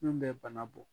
Min bɛ bana bɔ